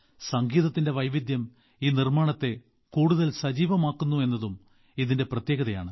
സംഗീതത്തിന്റെ വൈവിധ്യം ഈ അവതരണത്തെ കൂടുതൽ സജീവമാക്കുന്നു എന്നതും ഇതിന്റെ പ്രത്യേകതയാണ്